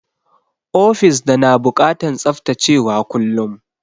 Ofis da na bukatan tsaftacewa kullum.